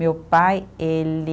Meu pai, ele